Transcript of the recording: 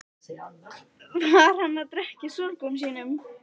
Var hann að drekkja sorgum sínum?